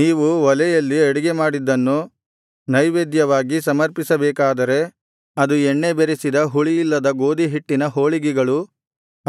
ನೀವು ಒಲೆಯಲ್ಲಿ ಅಡಿಗೆಮಾಡಿದ್ದನ್ನು ನೈವೇದ್ಯವಾಗಿ ಸಮರ್ಪಿಸಬೇಕಾದರೆ ಅದು ಎಣ್ಣೆ ಬೆರೆಸಿದ ಹುಳಿಯಿಲ್ಲದ ಗೋದಿಹಿಟ್ಟಿನ ಹೋಳಿಗೆಗಳು